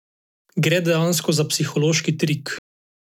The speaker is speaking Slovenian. Gre dejansko za psihološki trik.